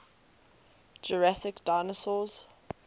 jurassic dinosaurs